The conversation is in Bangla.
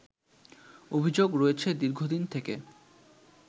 অভিযোগ রয়েছে দীর্ঘদিন থেকে